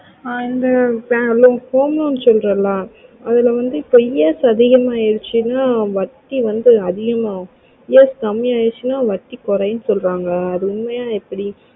ஆஹ் இந்த home loan சொல்றல அதுல வந்து இப்போ ES அதிகம் அசினை வட்டி வந்து அதிகம் ஆகும் ES கம்மி அசினை வட்டி கோரியும் சொல்ராங்க அது உண்மையா எப்டி